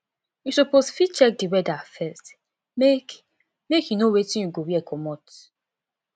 you suppose fit check di weather first make make you know wetin you go wear comot